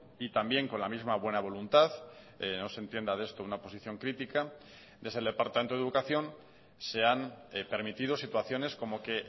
y también con la misma buena voluntad no se entienda de esto una posición crítica desde el departamento de educación se han permitido situaciones como que